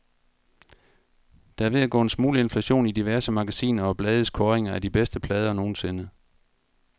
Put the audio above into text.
Der er ved at gå en smule inflation i diverse magasiner og blades kåringer af de bedste plader nogensinde.